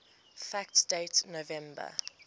fact date november